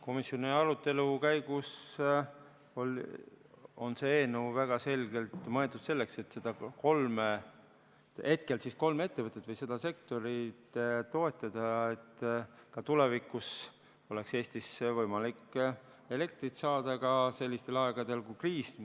Komisjoni arutelu käigus oli see eelnõu väga selgelt mõeldud selleks, et hetkel kolme ettevõtet või seda sektorit toetada, et ka tulevikus oleks Eestis võimalik elektrit saada ka sellistel aegadel, kui on kriis.